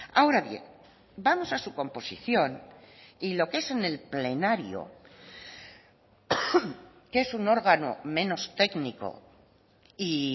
ahora bien vamos a su composición y lo que es en el plenario que es un órgano menos técnico y